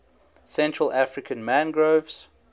central african mangroves